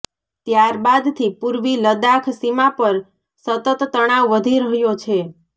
ત્યારબાદથી પૂર્વી લદાખ સીમા પર સતત તણાવ વધી રહ્યો છે